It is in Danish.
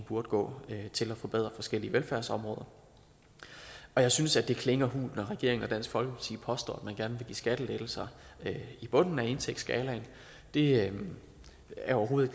burde gå til at forbedre forskellige velfærdsområder jeg synes at det klinger hult når regeringen og dansk folkeparti påstår at man gerne vil give skattelettelser i bunden af indtægtsskalaen det er overhovedet